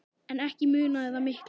En ekki munaði það miklu.